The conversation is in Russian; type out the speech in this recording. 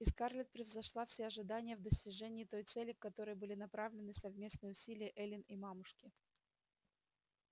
и скарлетт прёвзошла все ожидания в достижении той цели к которой были направлены совместные усилия эллин и мамушки